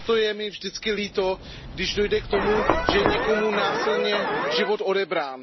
A proto je mi vždycky líto, když dojde k tomu, že je někomu násilně život odebrán.